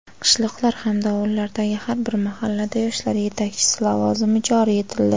qishloqlar hamda ovullardagi har bir mahallada yoshlar yetakchisi lavozimi joriy etildi.